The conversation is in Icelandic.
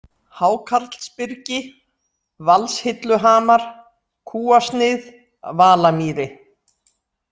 Hákarlsbyrgi, Valshilluhamar, Kúasnið, Valamýri